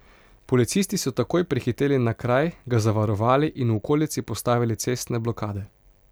Policisti so takoj prihiteli na kraj, ga zavarovali in v okolici postavili cestne blokade.